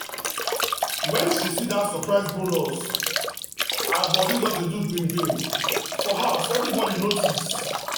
when she see that surprise bonus her body just dey do gbim for house everybody notice.